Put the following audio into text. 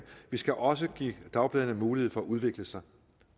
vi skal også give dagbladene mulighed for at udvikle sig